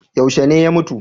Yaushe ne ya mutu?